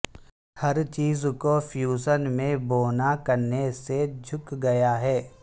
ہر چیز کو فیوژن میں بونا کرنے سے جھک گیا ہے